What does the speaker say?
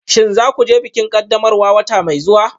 Shin za ku je bikin ƙaddamarwa wata mai zuwa?